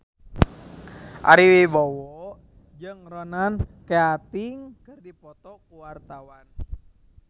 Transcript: Ari Wibowo jeung Ronan Keating keur dipoto ku wartawan